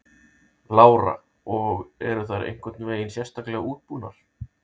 Lára: Og eru þær einhvern veginn sérstaklega útbúnar?